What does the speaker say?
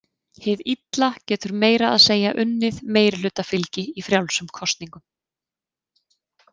Hið illa getur meira að segja unnið meirihlutafylgi í frjálsum kosningum.